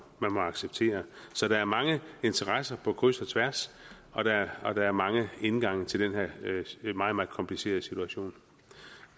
acceptere så der er mange interesser på kryds og tværs og der er mange indgange til den her meget meget komplicerede situation